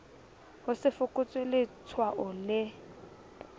ho se fokotswe letshwao le